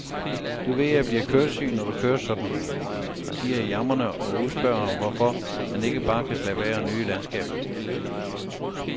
Du ved jeg bliver køresyg, når du kører sådan, siger jeg jamrende og spørger ham, hvorfor han ikke bare kan slappe af og nyde landskabet.